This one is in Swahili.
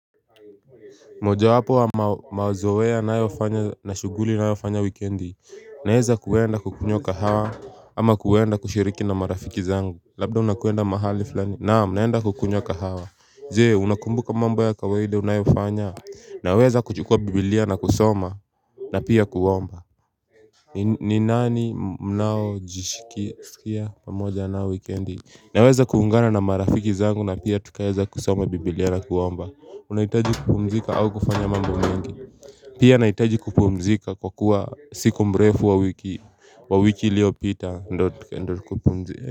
Mojawapo wa mazoea nayofanya na shuguli ninayofanya wikendi Naeza kuenda kukunywa kahawa ama kuenda kushiriki na marafiki zangu Labda unakwenda mahali fulani Naam naenda kukunywa kahawa jee unakumbuka mambo ya kawaida unayofanya? Naweza kuchukua biblia na kusoma na pia kuomba ni nani mnaojisikia pamoja nao wikendi Naweza kuungana na marafiki zangu na pia tukaeza kusoma Bibilia na kuomba unahitaji kupumzika au kufanya mambo mingi Pia nahitaji kupumzika kwa kuwa siku mrefu wa wiki iliopita ndo tu kupumzika.